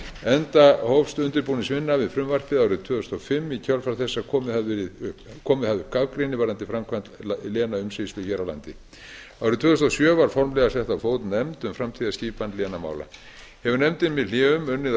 enda hófst undirbúningsvinna við frumvarpið árið tvö þúsund og fimm í kjölfar þess að komið hafði upp gagnrýni varðandi framkvæmd lénaumsýslu hér á landi árið tvö þúsund og sjö var formlega sett á fót nefnd um framtíðarskipan lénamála hefur nefndin með hléum unnið að